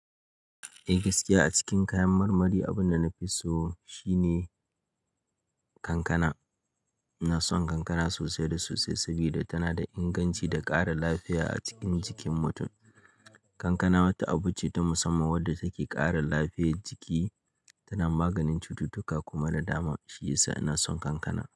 Eh gaskiya a cikin kayan marmari abunda nafi so shi ne kankana. Ina son kankana sosai da sosai sabida tana da inganci da ƙara lafiya a cikin jikin mutun. Kankana wata abu ce ta musamman wadda take ƙara lafiyar jiki, tana maganin cututtuka kuma na dama. Shiyasa ina son kankana.